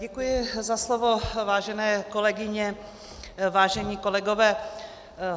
Děkuji za slovo, vážené kolegyně, vážení kolegové.